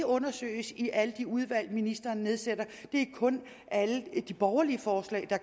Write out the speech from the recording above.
undersøges i alle de udvalg ministeren nedsætter det er kun alle de borgerlige forslag der